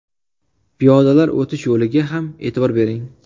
Piyodalar o‘tish yo‘liga ham e’tibor bering.